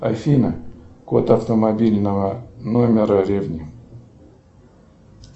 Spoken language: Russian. афина код автомобильного номера ревни